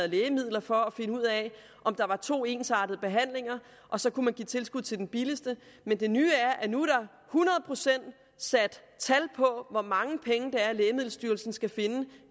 lægemidlerne for at finde ud af om der var to ensartede behandlinger og så kunne man give tilskud til den billigste men det nye er at nu er der hundrede procent sat tal på hvor mange penge lægemiddelstyrelsen skal finde